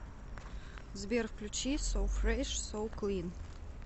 сбер включи со фреш со клин